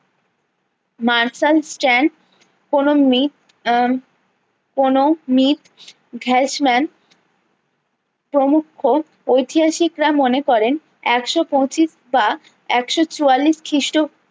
martial স্ট্যান্ড কোনো মিথ আহ কোনো প্রমুক্ষ ঐতিহাসিক রা মনে করেন একশো পঁচিশ বা একশো চুয়াল্লিশ খিষ্ট